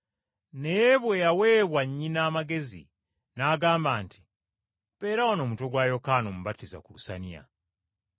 Naye bwe yaweebwa nnyina amagezi, n’agamba nti, “Mpeera wano omutwe gwa Yokaana Omubatiza ku lusaniya.”